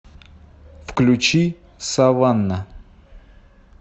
включи саванна